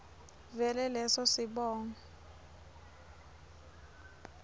vele leso sibongo